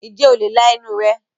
ǹjẹ́ o le la ẹnu rẹ̀?